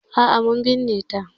A'a mun binne ta.